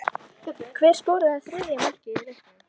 Hver skoraði þriðja markið í leiknum?